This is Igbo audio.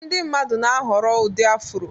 Ndị mmadụ na-ahọrọ ụdị Afro